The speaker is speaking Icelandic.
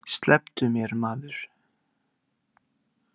Slepptu mér maður.